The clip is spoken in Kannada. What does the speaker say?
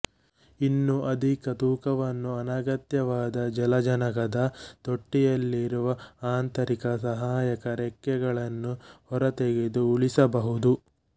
ಇನ್ನೂ ಅಧಿಕ ತೂಕವನ್ನು ಅನಗತ್ಯವಾದ ಜಲಜನಕದ ತೊಟ್ಟಿಯಲ್ಲಿರುವ ಆಂತರಿಕ ಸಹಾಯಕ ರೆಕ್ಕೆಗಳನ್ನು ಹೊರತೆಗೆದು ಉಳಿಸಬಹುದು